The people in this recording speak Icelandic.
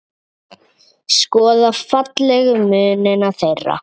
Skoða fallegu munina þeirra.